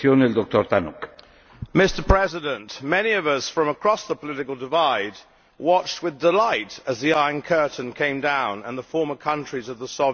Mr President, many of us from across the political divide watched with delight as the Iron Curtain came down and the former countries of the Soviet Union embraced freedom.